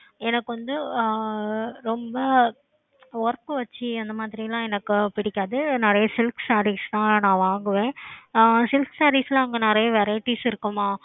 எனக்கு வந்து ஆஹ் ரொம்ப work வெச்சு அந்த மாதிரி லாம் எனக்கு புடிக்காது நிறைய silk sarees தான் நான் வாங்குவேன் ஆஹ் silk saree அங்க நிறைய variety இருக்குமா